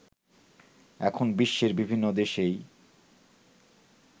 এখন বিশ্বের বিভিন্ন দেশেই